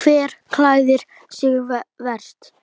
Hver klæðir sig verst?